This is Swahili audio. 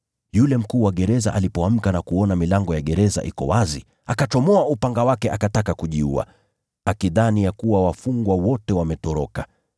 Yule mkuu wa gereza alipoamka na kuona milango ya gereza iko wazi, akachomoa upanga wake akataka kujiua, akidhani ya kuwa wafungwa wote wametoroka.